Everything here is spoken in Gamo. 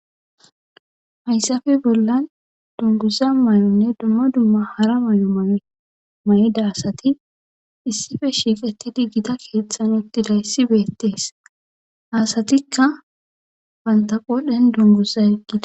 Hayssappe bollan dunguza mayonne dumma dumma hara mayo mayida asati issippe shiiqidi gita keethan uttidayssi beetees.ha asatikka bantta qoodhen dunguza yegida.